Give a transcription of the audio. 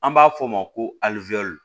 An b'a f'o ma ko alizɛri